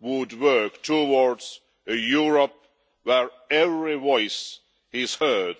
would work towards a Europe where every voice is heard